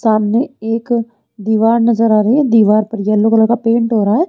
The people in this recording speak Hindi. सामने एक दीवार नजर आ रही है दीवार पर येलो कलर का पेंट हो रहा है।